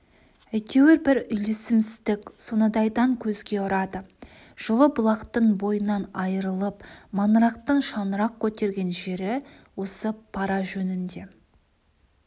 әйтеуір бір үйлесімсіздік сонадайдан көзге ұрады жылы-бұлақтың бойынан айырылып маңырақтың шаңырақ көтерген жері осы пара жөнінде